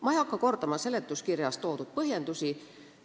Ma ei hakka kordama seletuskirjas toodud põhjendusi.